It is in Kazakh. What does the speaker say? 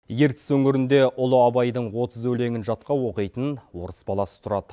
ертіс өңірінде ұлы абайдың отыз өлеңін жатқа оқитын орыс баласы тұрады